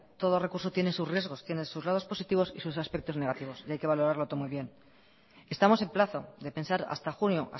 todo recurso tiene sus riesgos tiene sus lados positivos y sus aspectos negativos y hay que valorarlo todo muy bien estamos en plazo de pensar hasta junio